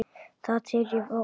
Það tel ég váboða.